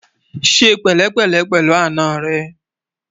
ṣé pèlé pèlé pèlú àná rè